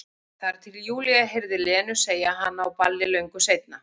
Þar til Júlía heyrði Lenu segja hana á balli löngu seinna.